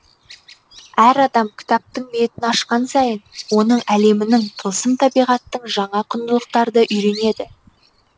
әр адам кітаптың беттін ашқан сайын оның әлемінің тылсым табиғаттың жаңа құндылықтарды үйренеді